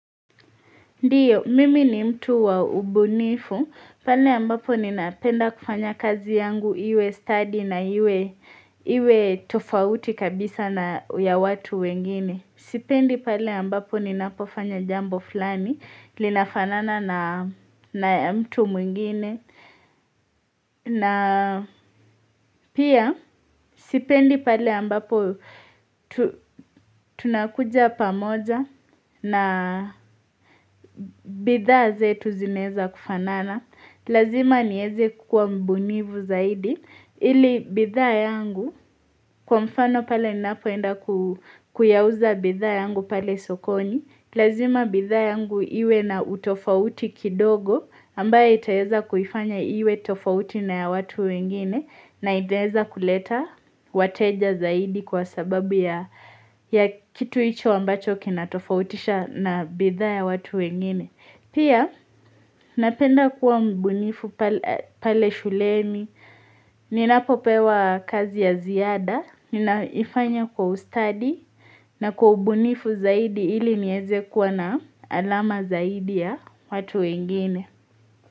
Ndiyo, mimi ni mtu wa ubunifu, pale ambapo ninapenda kufanya kazi yangu, iwe study na iwe tofauti kabisa na ya watu wengine. Sipendi pale ambapo ninapofanya jambo fulani, linafanana na ya mtu mwingine. Na pia sipendi pale ambapo tunakuja pamoja na bidhaa zetu zinaeza kufanana. Lazima nieze kukua mbunifu zaidi ili bidhaa yangu kwa mfano pale ninapoenda kuyauza bidhaa yangu pale sokoni. Lazima bidhaa yangu iwe na utofauti kidogo ambayo itaweza kufanya iwe tofauti na ya watu wengine na itaweza kuleta wateja zaidi kwa sababu ya kitu hicho ambacho kinatofautisha na bidhaa ya watu wengine. Pia napenda kuwa mbunifu pale shuleni, ninapopewa kazi ya ziada, ninaifanya kwa ustadi na kwa ubunifu zaidi ili niweze kuwa na alama zaidi ya watu wengine.